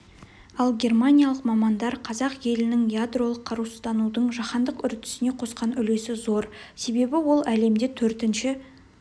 ал германиялық мамандар қазақ елінің ядролық қарусызданудың жаһандық үрдісіне қосқан үлесі зор себебі ол әлемде төртінші